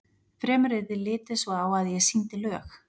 Fremur yrði litið svo á að ég sýndi lög